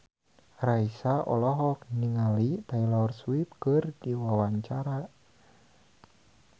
Raisa olohok ningali Taylor Swift keur diwawancara